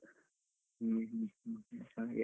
ಹ್ಮ್ ಹ್ಮ್ ಹ್ಮ್ ಹ್ಮ್ ಹಂಗೆ.